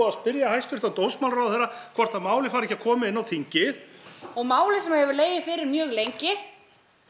að spyrja hæstvirtan dómsmálaráðherra hvort málið fari ekki að koma inná þingið og málið sem hefur legið fyrir mjög lengi